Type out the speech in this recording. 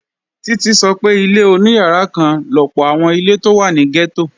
Títí sọ pé ilé oníyàrá kan lọ̀pọ̀ àwọn ilé tó wà ní gẹ́tò